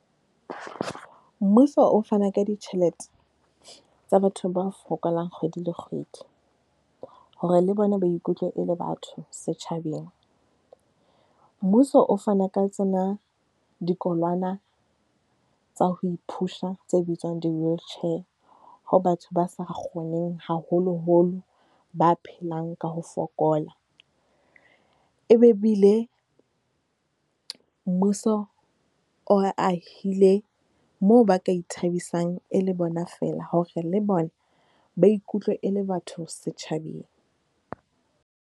Mmuso o fana ka ditjhelete tsa batho ba fokolang kgwedi le kgwedi hore le bona ba ikutlwe e le batho setjhabeng. Mmuso o fana ka tsena dikolwana tsa ho iphusha, tse bitswang di-wheelchair ho batho ba sa kgoneng, haholoholo ba phelang ka ho fokola. E be ebile mmuso o ahile moo ba ka ithabisang e le bona feela hore le bona ba ikutlwe e le batho setjhabeng.